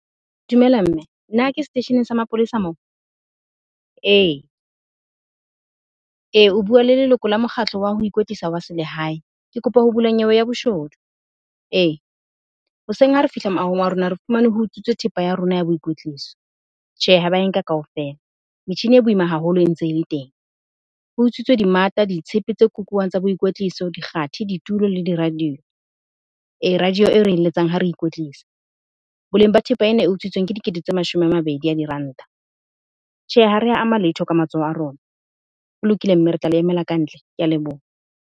Dumela mme na ke seteisheneng sa mapolesa moo? Ee, ee o bua le leloko la mokgatlo wa ho ikwetlisa wa selehae. Ke kopa ho bula nyewe ya boshodu, e hoseng ha re fihla moahong wa rona, re fumane ho utswitswe thepa ya rona ya boikwetliso. Tjhe, ha ba e nka kaofela, metjhini e boima haholo e ntse e le teng. Ho utswitswe dimata, ditshepe tse kukuwang tsa boikwetliso, dikgathe, ditulo le di-radio. E radio e re e letsang ha re ikwetlisa. Boleng ba thepa ena e utswitsweng ke dikete tse mashome a mabedi a diranta. Tjhe, ha re a ama letho ka matsoho a rona. Ho lokile mme re tla le emela kantle. Ke a leboha.